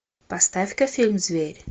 поставь ка фильм зверь